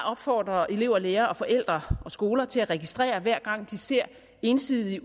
at opfordre elever lærere forældre og skoler til at registrere hver gang de ser ensidige